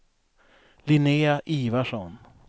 Linnea Ivarsson